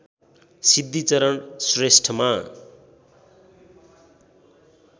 Siddhicharan श्रेष्ठमा